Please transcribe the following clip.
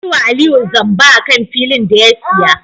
An yiwa Aliyu zamba akan filin da ya siya